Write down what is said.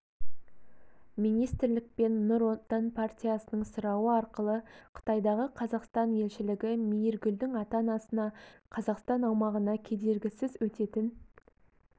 министрлік пен нұр отан партиясының сұрауы арқылы қытайдағы қазақстан елшілігі мейіргүлдің ата-анасына қазақстан аумағына кедергісіз өтетін